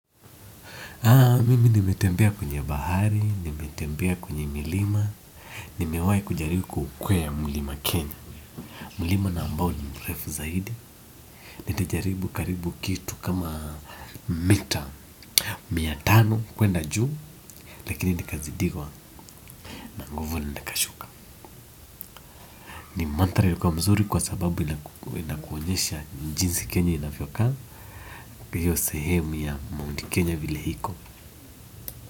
Mimi nimetembea kwenye bahari, nimetembea kwenye milima, nimewahi kujaribu kuukwea mlima Kenya. Mlima na ambao ni mrefu zaidi. Nilijaribu karibu kitu kama, mita mia tano kuenda juu, lakini nikazidiwa na nguvu, nikashuka ni mandhari ya kuwa mzuri kwa sababu inakuonyesha jinsi Kenya inavyoka, hiyo sehemu ya Mount Kenya vile iko.